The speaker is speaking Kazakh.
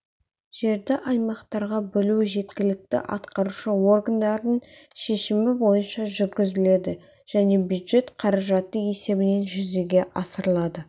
жерді аймақтарға бөлу жергілікті атқарушы органдардың шешімі бойынша жүргізіледі және бюджет қаражаты есебінен жүзеге асырылады